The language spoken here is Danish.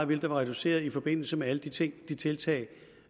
vil blive reduceret i forbindelse med alle de ting tiltag